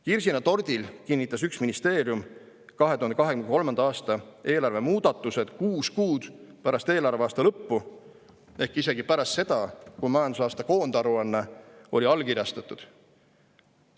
Kirsina tordil kinnitas üks ministeerium 2023. aasta eelarve muudatused kuus kuud pärast eelarveaasta lõppu ehk isegi pärast seda, kui majandusaasta koondaruanne oli allkirjastatud.